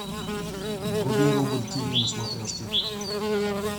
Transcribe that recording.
вруби рубль тиви на смотрешке